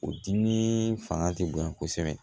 O dimi fanga ti bonya kosɛbɛ